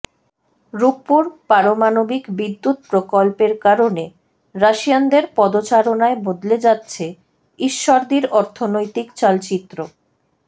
রূপপুর পারমাণবিক বিদ্যুৎ প্রকল্পের কারণে রাশিয়ানদের পদচারণায় বদলে যাচ্ছে ঈশ্বরদীর অর্থনৈতিক চালচিত্র